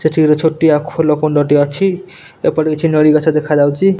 ସେଠି ଗୋଟେ ଛୋଟିଆ ଖୋଲ କୁଣ୍ଡଟି ଅଛି ଏପଟେ କିଛି ନଳୀ ଗଛ ଦେଖାଯାଉଛି।